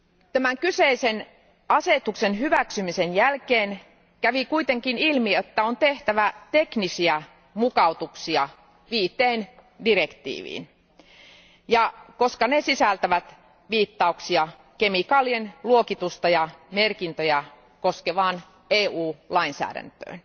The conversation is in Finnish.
Tämän kyseisen asetuksen hyväksymisen jälkeen kävi kuitenkin ilmi, että on tehtävä teknisiä mukautuksia viiteen direktiiviin, koska ne sisältävät viittauksia kemikaalien luokitusta ja merkintöjä koskevaan EU lainsäädäntöön.